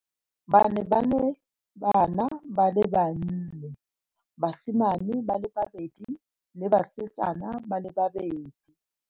Ba ne ba le bana ba le banne, basimane ba le babedi le basetsana ba le babedi.